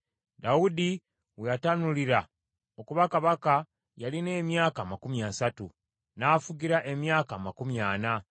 Dawudi we yatanulira okuba kabaka yalina emyaka amakumi asatu; n’afugira emyaka amakumi ana.